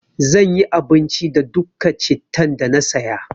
Zan yi abinci da dukka cittan da na saya.